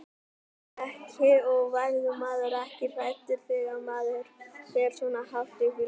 Breki: Og verður maður ekkert hræddur þegar maður fer svona hátt upp í loft?